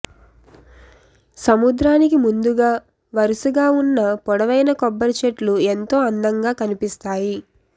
సముద్రానికి ముందుగా వరుసగా ఉన్న పొడవైన కొబ్బరిచెట్లు ఎంతో అందంగా కనిపిస్తాయి